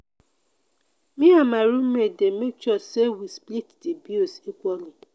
me and my room mate dey make sure sey we split di bills equally.